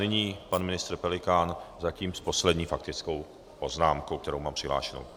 Nyní pan ministr Pelikán zatím s poslední faktickou poznámkou, kterou mám přihlášenou.